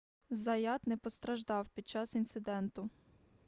заят не постраждав під час інциденту